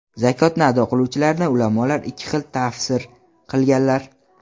Zakotni ado qiluvchilarni ulamolar ikki xil tafsir qilganlar.